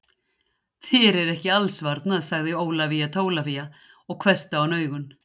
Þér er ekki alls varnað, sagði Ólafía Tólafía og hvessti á hann augun.